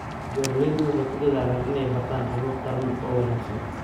Beeraleydu waxay ku dadaalayaan inay bartaan habab taran oo wanaagsan.